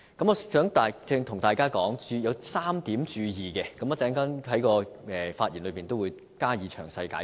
我想向大家提出3點要注意之處，我稍後在發言中會加以詳細解釋。